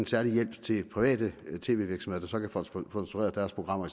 særlig hjælp til private tv virksomheder der kan få sponsoreret deres programmer